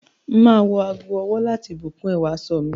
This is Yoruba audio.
M á ago-ọwọ́ láti bùn kún ẹwà aṣọ mi.